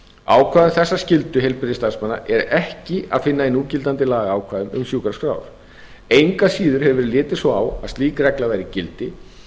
ákvæði um þessa skyldu heilbrigðisstarfsmanna er ekki að finna í núgildandi lagaákvæðum um sjúkraskrár engu að síður hefur verið litið svo á að slík regla væri í gildi